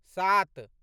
सात